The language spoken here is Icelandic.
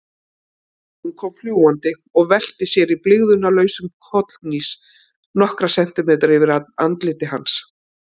Hún kom fljúgandi og velti sér í blygðunarlausum kollhnís nokkra sentimetra yfir andliti hans.